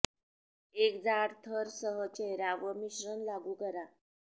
एक जाड थर सह चेहरा वर मिश्रण लागू करा